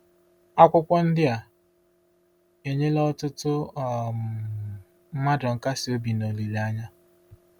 Akwụkwọ ndị a enyela ọtụtụ um mmadụ nkasiobi na olileanya.